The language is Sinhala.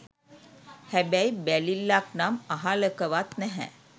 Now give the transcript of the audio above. හැබැයි බැලිල්ලක් නම් අහාලකවත් නැහැ